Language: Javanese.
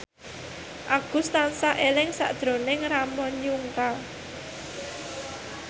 Agus tansah eling sakjroning Ramon Yungka